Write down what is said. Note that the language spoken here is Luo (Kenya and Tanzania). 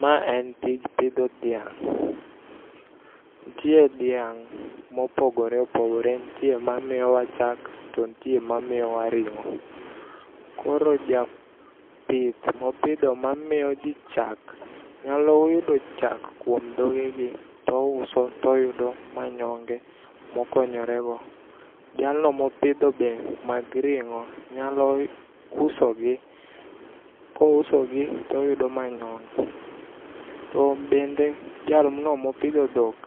Ma en tij pidho dhiang'. Nitie dhiang' mopogore opogore nitie mamiyowa chak to nitie mamiyowa ring'o. Koro japith mopidho mamiyoji chak nyalo yudo chak kuom dhogegi to ouso to yudo manyonge mokonyorego. Jalno mopidho be mag ring'o nyalo uso gi. Kouso gi to yudo manyonge. To bende jalno mopidho dhok